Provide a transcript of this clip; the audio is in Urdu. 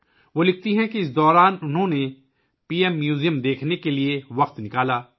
وہ لکھتی ہیں کہ اس دوران ، انہوں نے پی ایم میوزیم کا دورہ کرنے کے لیے وقت نکالا